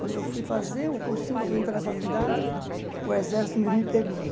Quando eu fui fazer o cursinho para poder entrar na faculdade, o exército me me pegou.